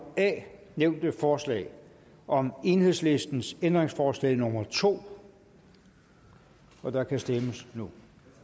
a nævnte forslag og om enhedslistens ændringsforslag nummer to og der kan stemmes nu